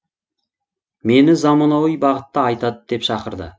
мені заманауи бағытта айтады деп шақырды